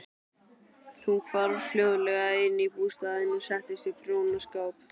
Hún hvarf hljóðlega inn í bústaðinn og settist við prjónaskap.